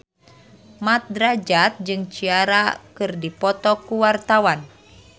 Mat Drajat jeung Ciara keur dipoto ku wartawan